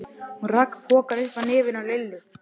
Hún rak pokann upp að nefinu á Lillu.